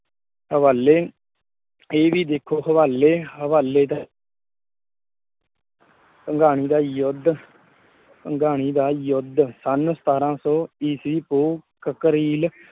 ਹਵਾਲੇ ਇਹ ਵੀ ਦੇਖੋ ਹਵਾਲੇ ਭੰਗਾਣੀ ਦਾ ਯੁੱਧ ਭੰਗਾਣੀ ਦਾ ਯੁੱਧ ਸੰਨ ਸਤਾਰਾਂ ਸੌ ਈਸੀ ਪੋਹ ਕਕਰੀਲ ਹਵਾਲੇ